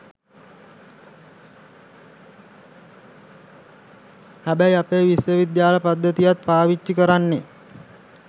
හැබැයි අපේ විශ්වවිද්‍යාල පද්ධතියත් පාවිච්චි කරන්නේ